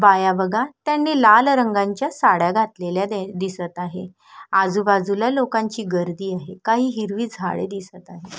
बाया बघा त्यांनी लाल रंगांच्या साड्या घातलेल्या दिसत आहे आजूबाजूला लोकांची गर्दी आहे काही हिरवी झाडे दिसत आहे.